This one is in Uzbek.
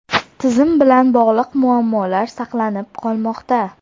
tizim bilan bog‘liq muammolar saqlanib qolmoqda.